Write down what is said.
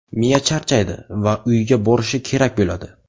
Miya charchaydi va uyga borishi kerak bo‘ladi.